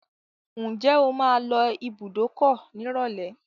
Ǹjẹ́ o máa lọ ibùdókọ̀ nírọ̀lẹ́?